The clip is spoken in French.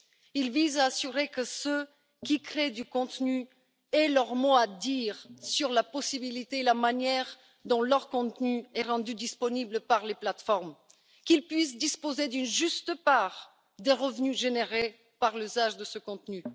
Il vise à assurer que ceux qui créent du contenu aient leur mot à dire sur la possibilité et la manière dont leur contenu est rendu disponible par les plateformes, et qu'ils puissent disposer d'une juste part des revenus générés par l'usage de ce contenu.